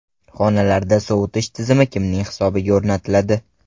Xonalarda sovutish tizimi kimning hisobiga o‘rnatiladi?